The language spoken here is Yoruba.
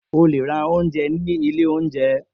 O le ra ounjẹ ni ile ounjẹ.